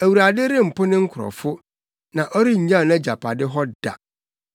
Awurade rempo ne nkurɔfo; na ɔrennyaw nʼagyapade hɔ da.